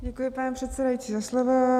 Děkuji, pane předsedající, za slovo.